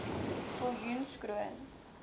viljoenskroon